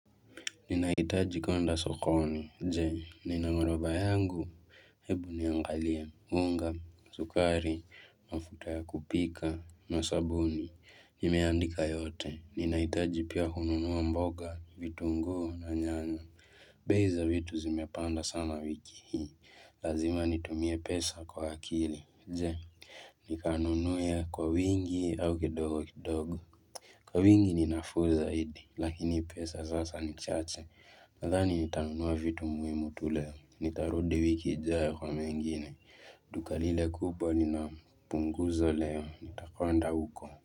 Ninahitaji kwenda sokoni, je, nina horodha yangu, hebu niangalie, unga, sukari, mafuta ya kupika, na sabuni, nimeandika yote, ninahitaji pia kununua mboga, vitunguu na nyanya, bei za vitu zimepanda sana wiki hii, lazima nitumie pesa kwa akili, je, nikanunue kwa wingi au kidogo kidogo. Kwa wingi ninafuu zaidi, lakini pesa sasa ni chache, nadhani nitanunua vitu muhimu tu leo, nitarudi wiki ijayo kwa mengine, duka lile kubwa linapunguzo leo, nitakonda huko.